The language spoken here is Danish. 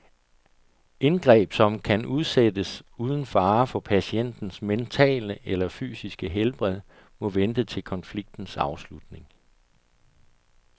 Indgreb, som kan udsættes uden fare for patientens mentale eller fysiske helbred, må vente til konfliktens afslutning.